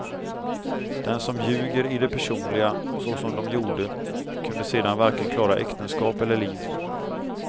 Den som ljuger i det personliga så som de gjorde kunde sedan varken klara äktenskap eller liv.